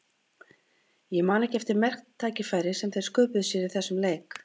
Ég man ekki eftir marktækifæri sem þeir sköpuðu sér í þessum leik.